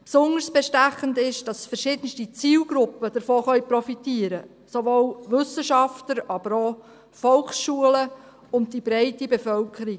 Besonders bestechend ist, dass verschiedenste Zielgruppen davon profitieren können, sowohl Wissenschaftler aber auch Volksschulen und die breite Bevölkerung.